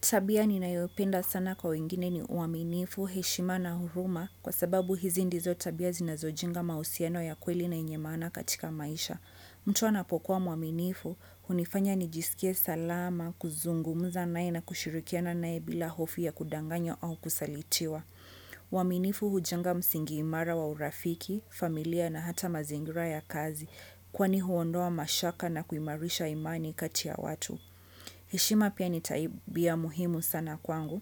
Tabia ninayopenda sana kwa wengine ni uaminifu, heshima na huruma kwa sababu hizi ndizo tabia zinazojenga mahusiano ya kweli na yenye maana katika maisha. Mtu anapokuwa mwaminifu, hunifanya nijisikie salama, kuzungumza naye na kushirikiana naye bila hofu ya kudanganywa au kusalitiwa. Uaminifu huchanga msingi imara wa urafiki, familia na hata mazingira ya kazi kwani huondoa mashaka na kuimarisha imani kati ya watu. Heshima pia ni tabia muhimu sana kwangu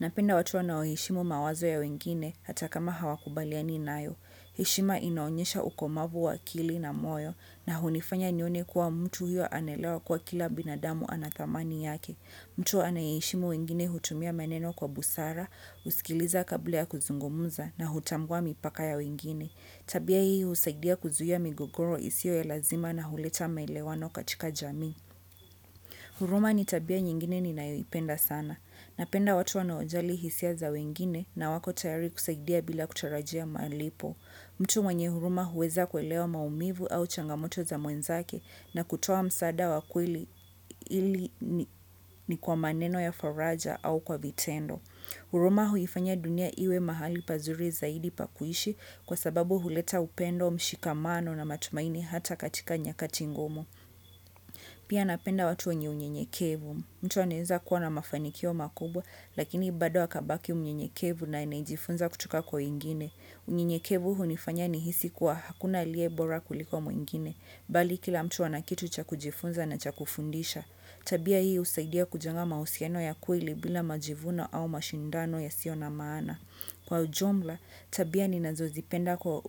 Napenda watu wanaoheshimu mawazo ya wengine hata kama hawakubaliani nayo heshima inaonyesha ukomavu wa akili na moyo na hunifanya nione kuwa mtu huyo anaelewa kuwa kila binadamu ana thamani yake mtu anayeheshimu wengine hutumia meneno kwa busara, husikiliza kabla ya kuzungumza na hutambua mipaka ya wengine Tabia hii husaidia kuzuia migogoro isiyo ya lazima na huleta maelewano katika jamii huruma ni tabia nyingine ninayoipenda sana. Napenda watu wanaojali hisia za wengine na wako tayari kusaidia bila kutarajia malipo. Mtu mwenye huruma huweza kuelewa maumivu au changamoto za mwenzake na kutoa msaada wa kweli ili ni kwa maneno ya faraja au kwa vitendo. Huruma huifanya dunia iwe mahali pazuri zaidi pa kuishi kwa sababu huleta upendo mshikamano na matumaini hata katika nyakati ngumu. Pia napenda watu wenye unyenyekevu mtu anaeza kuwa na mafanikio makubwa Lakini bado akabaki mnyenyekevu na najifunza kutoka kwa wengine unyenyekevu hunifanya nihisi kuwa hakuna aliye bora kuliko mwingine Bali kila mtu ana kitu cha kujifunza na cha kufundisha Tabia hii husaidia kujunga mahusiano ya kweli bila majivuno au mashindano yasiyo na maana Kwa ujumla, tabia ninazozipenda kwa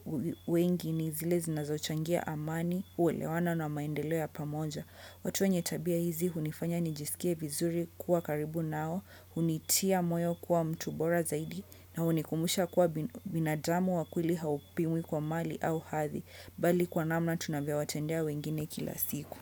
wengi ni zile zinazochangia amani uwelewano na maendeleo ya pamoja. Watu wenye tabia hizi, hunifanya nijisikie vizuri kuwa karibu nao, hunitia moyo kuwa mtu bora zaidi, na hunikumbusha kuwa binadamu wa kweli haupimwi kwa mali au hathi, bali kwa namna tunavyo watendea wengine kila siku.